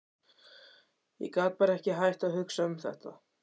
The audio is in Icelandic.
Ég get bara ekki hætt að hugsa um þetta.